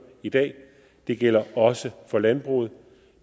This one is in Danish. i dag det gælder også for landbruget